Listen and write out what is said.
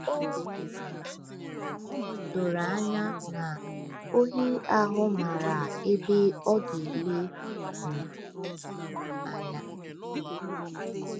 O doro anya na ohi ahụ maara ebe ọ ga-ele um anya.